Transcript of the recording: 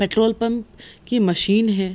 Petrol pump की machine है।